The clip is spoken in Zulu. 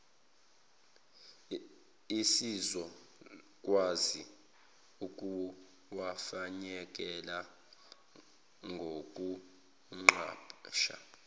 esizokwazi ukuwafinyelela ngokuqasha